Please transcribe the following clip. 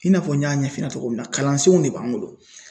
I n'a fɔ n y'a ɲɛf'i ɲɛna togo min na kalansenw de b'an bolo